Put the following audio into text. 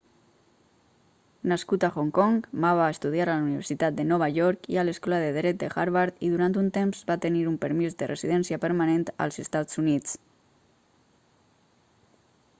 nascut a hong kong ma va estudiar a la universitat de nova york i a l'escola de dret de harvard i durant un temps va tenir un permís de residència permanent als estats units